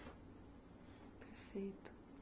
Perfeito.